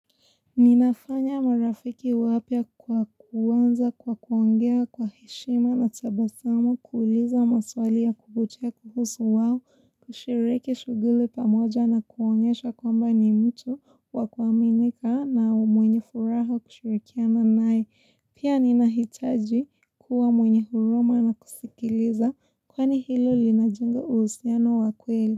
Ninafanya marafiki wapya kwa kuanza, kwa kuongea, kwa heshima na tabasamu kuuliza maswali ya kuvutia kuhusu wao, kushiriki shughuli pamoja na kuonyesha kwamba ni mtu wakuaminika na mwenye furaha kushirikiana naye Pia nina hitaji kuwa mwenye huruma na kusikiliza kwani hilo lina jenga uhusiano wa kweli.